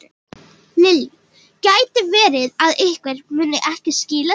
Lillý: Gæti verið að einhver muni ekki skila sér?